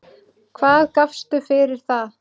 Hvað gafstu fyrir það?